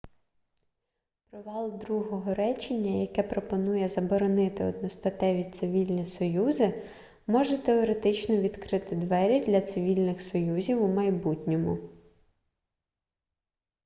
провал другого речення яке пропонує заборонити одностатеві цивільні союзи може теоретично відкрити двері для цивільних союзів у майбутньому